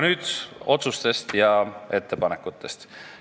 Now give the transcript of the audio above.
Nüüd otsustest ja ettepanekutest.